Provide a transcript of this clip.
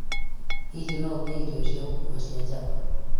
Hihi no ngĩe na irio cia gũkuua cia Java